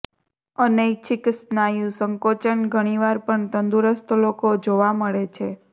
અનૈચ્છિક સ્નાયુ સંકોચન ઘણીવાર પણ તંદુરસ્ત લોકો જોવા મળે છે